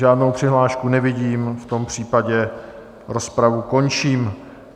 Žádnou přihlášku nevidím, v tom případě rozpravu končím.